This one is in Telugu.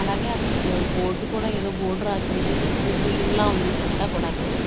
అలాగే అక్కడ బోర్డు కూడా ఏదో బోర్డు రాసి ఉంది ఇది స్కూల్ బిల్డింగ్ లా ఉంది ఇదంతా కూడాను.